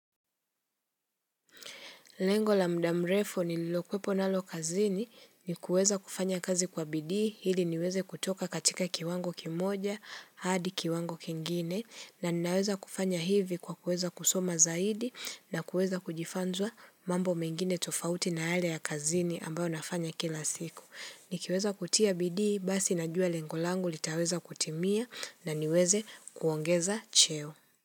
Lengo la mda mrefu nililo kuwepo nalo kazini ni kuweza kufanya kazi kwa bidii ili niweze kutoka katika kiwango kimoja hadi kiwango kingine na ninaweza kufanya hivi kwa kueza kusoma zaidi na kueza kujifanzwa mambo mengine tofauti na yale ya kazini ambao nafanya kila siku. Nikiweza kutia bidii basi najua lengo langu litaweza kutimia na niweze kuongeza cheo.